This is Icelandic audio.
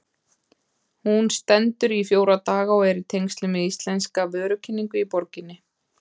Hún stendur í fjóra daga og er í tengslum við íslenska vörukynningu í borginni.